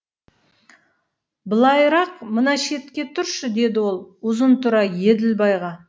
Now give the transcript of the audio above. былайырақ мына шетке тұршы деді ол ұзынтұра еділбайға